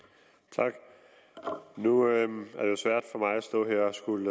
tak nu er det svært for mig at stå her at skulle